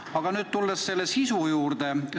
Aga nüüd tulen selle sisu juurde.